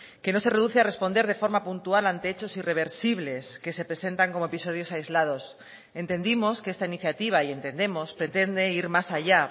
que no se reduce a responder de forma puntual ante hechos irreversibles que se presentan como episodios aislados entendimos que esta iniciativa y entendemos pretende ir más allá